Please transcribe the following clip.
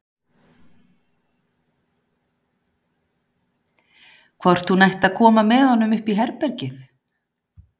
Hvort hún ætti að koma með honum upp í herbergið?